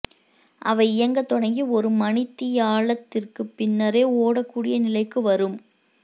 அவை இயங்கத்தொடங்கி ஒரு மணித்தியாலத்திற்கு பின்னரே ஓடக்கூடிய நிலைக்கு வரும்